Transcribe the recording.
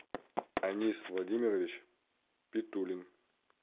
анис владимирович питулин